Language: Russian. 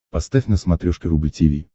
поставь на смотрешке рубль ти ви